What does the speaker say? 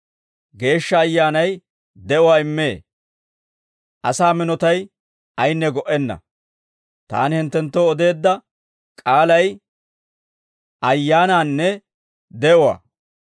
Geeshsha Ayyaanay de'uwaa immee; asaa minotay ayinne go"enna. Taani hinttenttoo odeedda k'aalay ayyaanaanne de'uwaa.